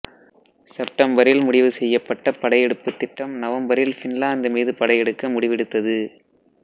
செப்டம்பரில் முடிவு செய்யப்பட்ட படையெடுப்பு திட்டம் நவம்பரில் பின்லாந்து மீது படையெடுக்க முடிவெடுத்தது